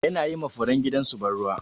Yana yi ma furen gidan su ban ruwa.